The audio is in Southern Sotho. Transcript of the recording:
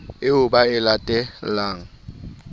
eo ba e late lang